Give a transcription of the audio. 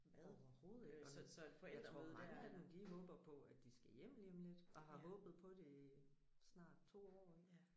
Overhovedet ikke. Og jeg tror mange af dem håber på at de skal hjem lige om lidt og har håbet på det i snart 2 år ik